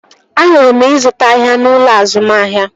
Ahụrụ ịzụta ahịa n'ụlọ azụmahịa